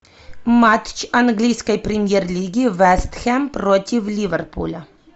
матч английской премьер лиги вест хэм против ливерпуля